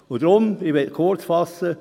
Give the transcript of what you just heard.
Und deshalb, ich möchte mich kurzfassen: